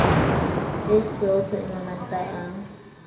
e sootho e mabanta a